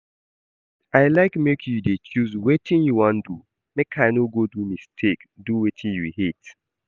I like make you dey choose wetin you wan do make I no go do mistake do wetin you hate